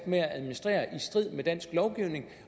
med at administrere i strid med dansk lovgivning